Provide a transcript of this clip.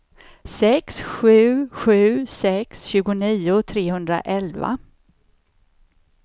sex sju sju sex tjugonio trehundraelva